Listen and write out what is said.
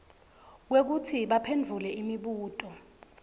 kwekutsi baphendvule imibuto